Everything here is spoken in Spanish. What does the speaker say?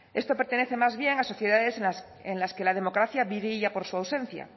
esto pertenece más bien a sociedades en las que la democracia brilla por su ausencia